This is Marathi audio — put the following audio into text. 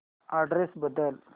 अॅड्रेस बदल